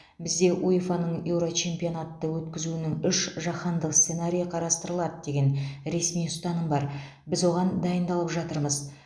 бізде уефа ның еурочемпионатты өткізуінің үш жаһандық сценарийі қарастырылады деген ресми ұстаным бар біз оған дайындалып жатырмыз